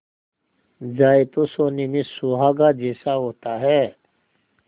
जाए तो सोने में सुहागा जैसा होता है